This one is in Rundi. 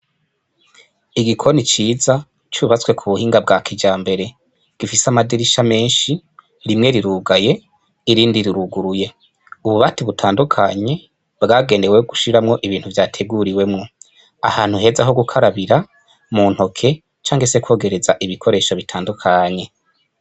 Igikoni ciza cubatswe kubuhinga bwa kijambere, gifise amadirisha menshi rimwe rirugaye, irindi riruguruye, ububati butandukanye bwagenewe gushiramwo ibintu vyateguriwemwo, ahantu heza ho gukarabira, muntoke canke se kwogereza ibikoresho bitandukanye.